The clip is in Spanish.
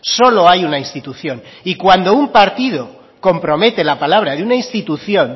solo hay una institución y cuando un partido compromete la palabra de una institución